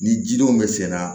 Ni jidenw bɛ senna